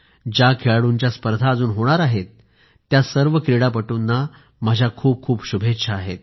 ज्या खेळाडूंच्या स्पर्धा अजून होणार आहेत त्या सर्व क्रीडापटूंना माझ्या खूपखूप शुभेच्छा